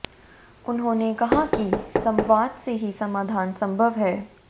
उन्होंने कहा कि संवाद से ही समाधान संभव है